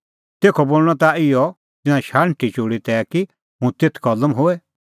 तेखअ बोल़णअ ताह इहअ तिंयां शाण्हटी चोल़ी तै कि हुंह तेथ कलम होए